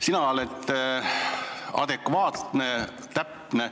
Sina oled adekvaatne, täpne.